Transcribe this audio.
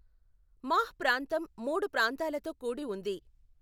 మాహ్ ప్రాంతం మూడు ప్రాంతాలతో కూడి ఉంది.